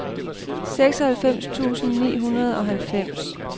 seksoghalvfems tusind ni hundrede og halvfems